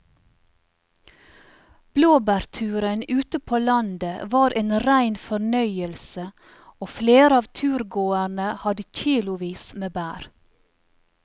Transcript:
Blåbærturen ute på landet var en rein fornøyelse og flere av turgåerene hadde kilosvis med bær.